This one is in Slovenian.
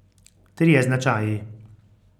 Trije značaji.